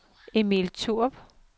Emil Thorup